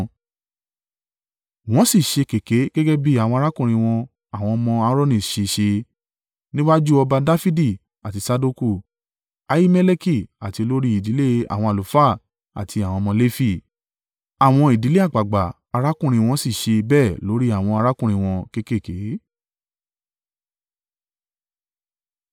Wọ́n sì ṣé kèké gẹ́gẹ́ bí àwọn arákùnrin wọn àwọn ọmọ Aaroni ṣe ṣẹ́, níwájú ọba Dafidi àti Sadoku, Ahimeleki, àti olórí ìdílé àwọn àlùfáà àti àwọn ọmọ Lefi. Àwọn ìdílé àgbàgbà arákùnrin wọ́n sì ṣe bẹ́ẹ̀ lórí àwọn arákùnrin wọn kéékèèké.